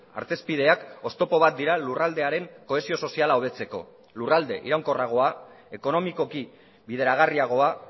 artezpideak oztopo bat dira lurraldearen kohesio soziala hobetzeko lurralde iraunkorragoa ekonomikoki bideragarriagoa